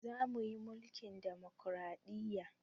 Za mu yi mulkin ɗamokraɗiya